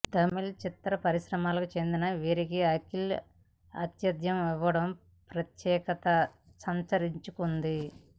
తమిళ చిత్ర పరిశ్రమకు చెందిన వీరికి అఖిల్ ఆతిధ్యం ఇవ్వడం ప్రత్యేకత సంతరించుకుంది